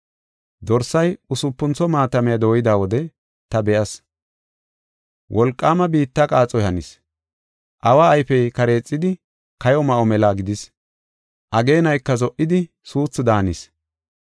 Dorsay usupuntho maatamiya dooyida wode ta be7as; wolqaama biitta qaaxoy hanis. Awa ayfey kareexidi kayo ma7o mela gidis. Ageenayka zo77idi suuthu daanis.